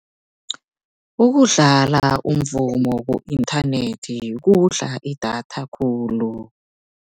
Ukudlala umvumo ku-inthanethi kudla idatha khulu.